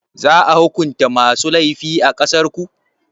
Za a hukunta masu laifi a ƙasarku?